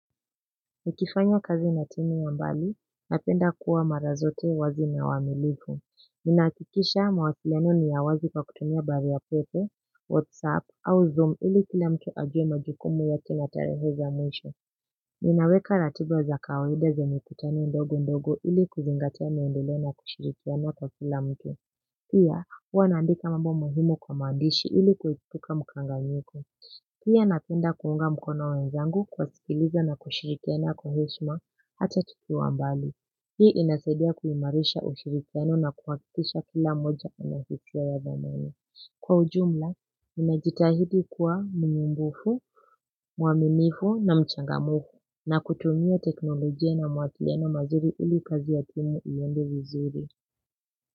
Nikifanya kazi natini ya mbali napenda kuwa mara zote wazi na waminifu ninahakikisha mawasiliano ni ya wazi kwa kutumia barua pepe whatsapp au zoom ili kila mtu ajue majukumu ya kila tarehe za mwisho ninaweka ratibwa za kawahida za mikutani ndogo ndogo ili kuzingatia maendeleo na kushirikiana kwa kila mtu pia huwa nandika mambo muhimu kwa mandishi ili kuhipuka mchanganyiko pia ninapenda kuunga mkono wenzangu kwa kuwasikiliza na kushirikiana kwa heshima hata tukiwa mbali. Hii inasidia kuhimarisha ushirikiano na kuhakikisha kila mmoja anastahaliya mbele. Kwa ujumla, nimejitahidi kuwa mnyumbufu, muamimifu na mchangamufu na kutumia teknolojia na mawasiliano mazuri ili kazi ya timu ihende vizuri.